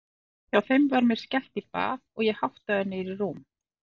Hjá þeim var mér skellt í bað og ég háttaður niður í rúm.